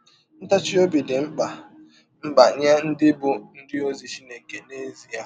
Ntachi ọbi dị mkpa mkpa nye ndị bụ́ ndị ọzi Chineke n’ezie.